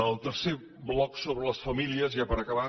el tercer bloc sobre les famílies ja per acabar